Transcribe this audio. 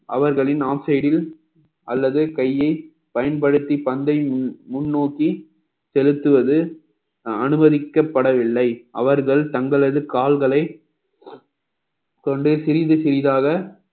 அவர்களின் off side ல் அல்லது கையை பயன்படுத்தி பந்தை முன்~ முன்னோக்கி செலுத்துவது அனுமதிக்கப்படவில்லை அவர்கள் தங்களது கால்களை கொண்டு சிறிது சிறிதாக